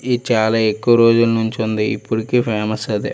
ఈ చాలా ఎక్కువ రోజుల నుంచి ఉంది. ఇప్పటికీ ఫేమస్ అది.